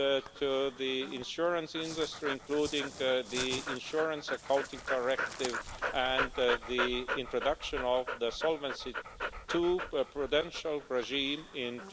to the insurance industry, including the Insurance Accounting Directive and the introduction of the Solvency II prudential regime in